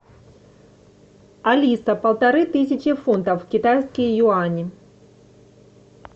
алиса полторы тысячи фунтов в китайские юани